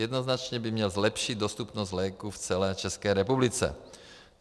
Jednoznačně by měl zlepšit dostupnost léků v celé České republice.